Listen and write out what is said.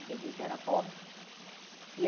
Porque a gente era pobre.